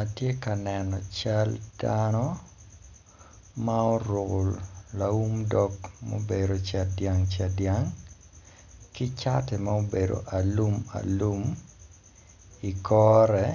Ati ka neno cal dano ma oruku lamum dog ma obedo cet dyang cet dyang ki cati ma obedo alum alum i kore